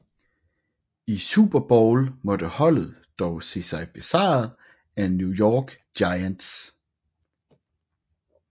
I Super Bowl måtte holdet dog se sig besejret af New York Giants